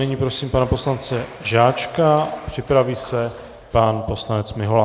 Nyní prosím pana poslance Žáčka, připraví se pan poslanec Mihola.